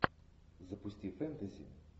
запусти фэнтези